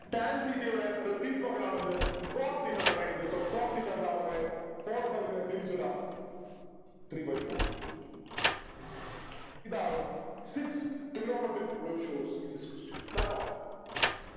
tan theta യുടെ reciprocal ആണ് എന്ത് cot theta എന്ന് പറയുന്നത് so cot theta എന്താ മക്കളെ four by three നെ തിരിച്ചിടാം three by four ഇതാണ് six trigonometric ratios in this question കേട്ടോ